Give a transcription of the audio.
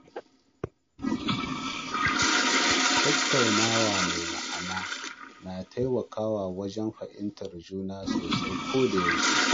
Tattaunawa mai ma’ana na taimakawa wajen fahimtar juna sosai koda yaushe